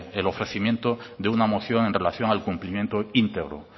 el ofrecimiento de una moción en relación al cumplimiento íntegro